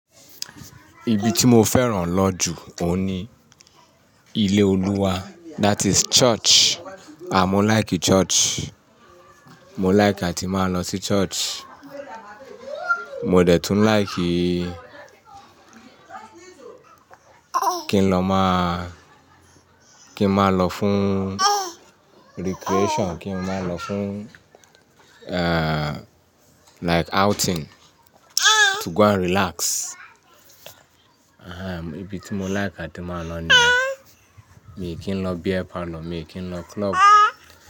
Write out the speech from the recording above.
Ibi tí mo fẹ́ràn lọ jù òun ni ilé Olúwa, that is church. À mo like church. Mó like àti má lọ sí church. Mó dẹ̀ tún like kí n lọ má, kí n má lọ fún recreation, kí n má lọ fún, eh, like outing, to go and relax. Ehe, ibi tí mo like àti má lọ ni, mi kìí lọ beer parlour, mi kì í lọ club.